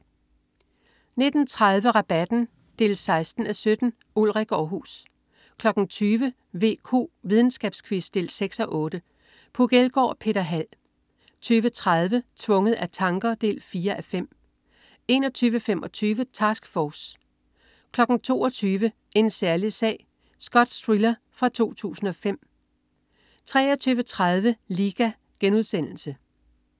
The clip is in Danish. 19.30 Rabatten. 16:17. Ulrik Aarhus 20.00 VQ. Videnskabsquiz. 6:8. Puk Elgård og Peter Hald 20.30 Tvunget af tanker. 4:5 21.25 Task Force 22.00 En særlig sag. Skotsk thriller fra 2005 23.30 Liga*